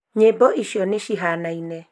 nyĩmbo icio nĩ cihanaine